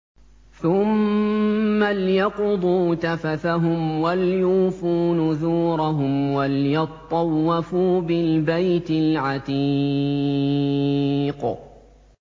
ثُمَّ لْيَقْضُوا تَفَثَهُمْ وَلْيُوفُوا نُذُورَهُمْ وَلْيَطَّوَّفُوا بِالْبَيْتِ الْعَتِيقِ